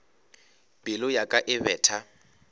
pelo ya ka e betha